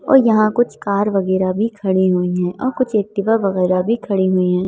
और यहाँ कुछ कार वगैरह भी खड़ी हुई हैं और कुछ एक्टिवा वगैरह भी खड़ी हुई हैं।